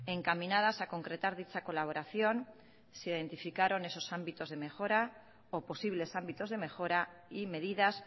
encaminadas a concretar dicha colaboración se identificaron esos ámbitos de mejora o posibles ámbitos de mejora y medidas